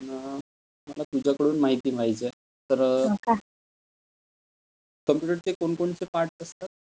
न मला तुझ्याकडून माहिती पाहिजे आहे, तर कम्प्युटरचे कोण कोणते पार्टस असतात?